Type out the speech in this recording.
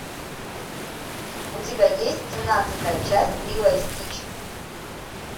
у тебя есть семнадцатая часть лило и стич